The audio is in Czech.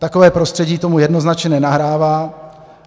Takové prostředí tomu jednoznačně nenahrává.